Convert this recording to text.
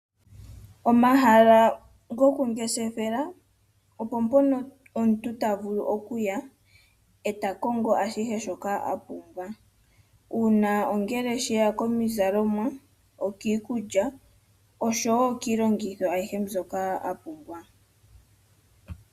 Omahala gokungeshefela opo mpono omuntu ta vulu okuya e ta kongo ashihe shoka wa pumbwa. Uuna ongele she ya komizalomwa, pkiikulya osho wo kiilongitgo ayihe mbyoka a pmbwa.